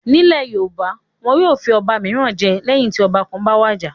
Nílẹ̀ Yorùbá, wọn yóò fi ọba mìíràn jẹ lẹ́yìn tí ọba kan bá wàjà.